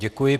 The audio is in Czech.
Děkuji.